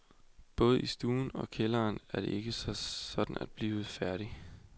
Både i stuen og kælderen er det ikke sådan at blive færdig.